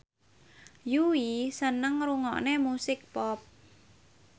Yui seneng ngrungokne musik pop